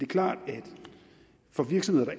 klart at for virksomheder